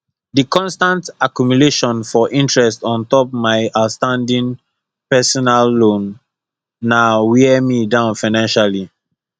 di constant accumulation for interest on top mai outstanding personal loan na wear me down financially